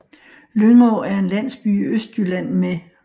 Lyngå er en landsby i Østjylland med